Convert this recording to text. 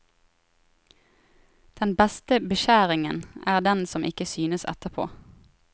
Den beste beskjæringa er den som ikke synes etterpå.